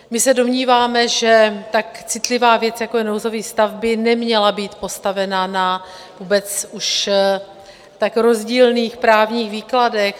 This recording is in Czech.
My se domníváme, že tak citlivá věc, jako je nouzový stav, by neměla být postavena na vůbec už tak rozdílných právních výkladech.